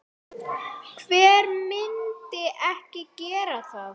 Hver myndi ekki gera það?